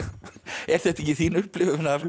er þetta ekki þín upplifun af